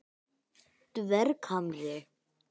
Dverghamri